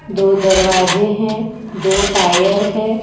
दो दरवाजे हैं दो टायर है।